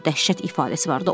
Onun üzündə dəhşət ifadəsi vardı.